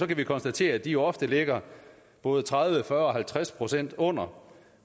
vi konstatere at de ofte ligger både tredive fyrre og halvtreds procent under